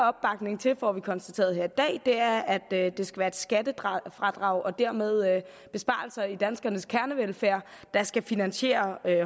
opbakning til får vi konstateret her i dag er at det skal være et skattefradrag og dermed besparelser i danskernes kernevelfærd der skal finansiere